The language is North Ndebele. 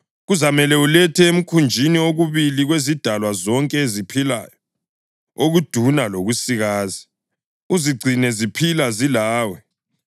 Kuzamele ulethe emkhunjini okubili kwezidalwa zonke eziphilayo, okuduna lokusikazi, uzigcine ziphila zilawe.